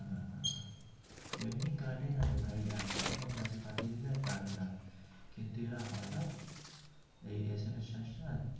এমনি কাটে না রে ভাই একশো খানাও message পাঠিয়ে দিলেও কাটে না কিন্তু এরা হটাৎ এই SMS charge টা.